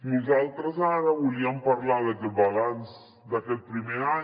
nosaltres ara volíem parlar del balanç d’aquest primer any